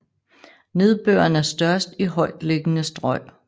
Nedbøren er størst i højtliggende strøg